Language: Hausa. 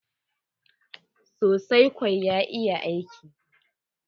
sosai kwa, ya iya aiki.